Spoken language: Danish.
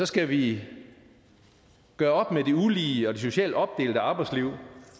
skal vi gøre op med det ulige og det socialt opdelte arbejdsliv